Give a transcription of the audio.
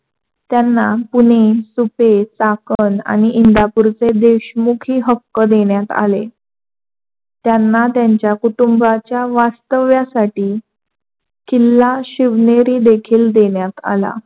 त्यांना पुणे, सुपे, चाकण आणि इंदापूरचे हे देशमुखी हक्क देण्यात आले. त्यांना त्यांच्या कुठुंबच्या वास्तव्यासाठी किल्ला शिवनेरी देखील देण्यात आला.